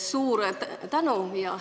Suur tänu!